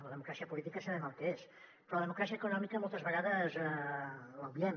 la democràcia política sabem el que és però la democràcia econòmica moltes vegades l’obviem